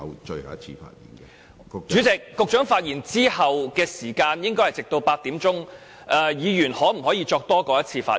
主席，局長發言後的會議時間應該直至8時為止，議員可否作多於一次的發言呢？